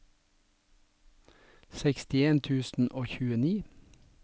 sekstien tusen og tjueni